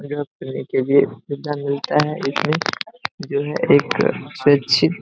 job करने के भी सुविधा मिलता है इसमें जो है एक सुरक्षित